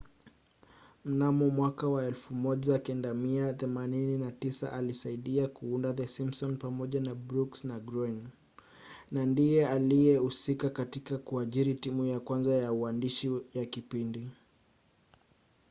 mnamo 1989 alisaidia kuunda the simpsons pamoja na brooks na groening na ndiye aliyehusika katika kuajiri timu ya kwanza ya uandishi ya kipindi